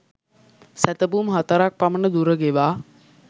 සැතපුම් හතරක් පමණ දුර ගෙවා